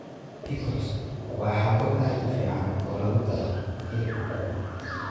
Pickles waa xabo aad u fiican oo lagu daro hilibka duban.